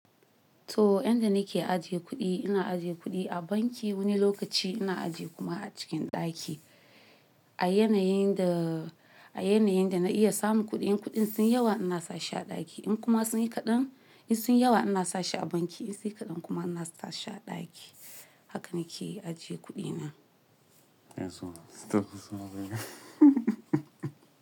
To, inda nake ajiye kuɗi, ina ajiye kuɗi a banki wani lokaci ina ajiye kuma a cikin ɗaki. A yanayin da--a yanayin da na iya samun kuɗi, in kuɗin sun yi yawa ina sa shi a ɗaki. In kuma sun yi kaɗan, in sun yi yawa ina sa shi a banki. In sun yi kaɗan kuma ina sa sha ɗaki. Haka nake ajiye kuɗina. Yanzu muka samu sanarwa.